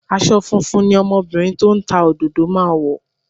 Aṣọ funfun ni ọmọbìnrin tó ń ta òdòdó máa wọ̀